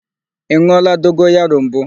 Ị n̄ụọla dogoyaro mbụ?